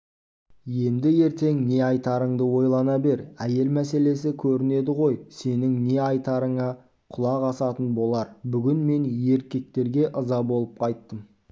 енді ертең не айтарыңды ойлана бер әйел мәселесі көрінеді ғой сенің не ай тарыңа құлақ асатын болар бүгін мен еркектерге ыза болып қайттым